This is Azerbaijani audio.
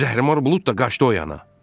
Zəhrimar bulud da qaçdı o yana.